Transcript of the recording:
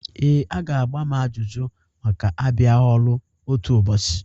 Ee, a ga-agba m ajụjụ maka abịaghi ọrụ otu ụbọchị.